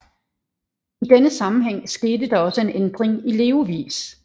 I denne sammenhæng skete der også en ændring i levevis